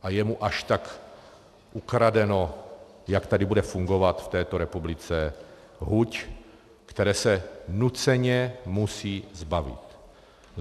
A je mu až tak ukradeno, jak tady bude fungovat v této republice huť, které se nuceně musí zbavit.